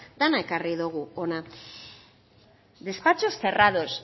dena ekarri dugu hona despachos cerrados